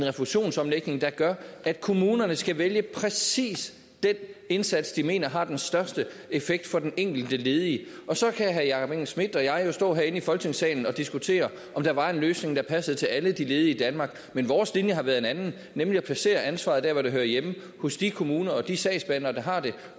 refusionsomlægning der gør at kommunerne skal vælge præcis den indsats de mener har den største effekt for den enkelte ledige og så kan herre jakob engel schmidt og jeg jo stå herinde i folketingssalen og diskutere om der var en løsning der passede til alle de ledige i danmark men vores linje har været en anden nemlig at placere ansvaret der hvor det hører hjemme hos de kommuner og de sagsbehandlere der har det